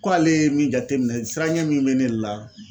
Ko ale ye min jate minɛ siran ɲɛ min bɛ ne la